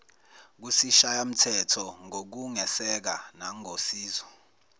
kusishayamthetho ngokungeseka nangosizo